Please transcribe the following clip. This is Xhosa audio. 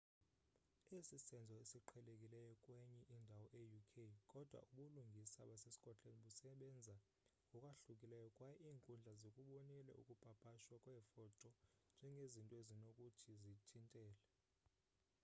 esi sisenzo esiqhelekileyo kwenye indawo e-uk kodwa ubulungisa basescotland busebenza ngokwahlukileyo kwaye iinkundla zikubonile ukupapashwa kweefoto njengezinto ezinokuthi zithintele